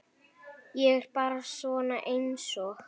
Ég er bara svona einsog.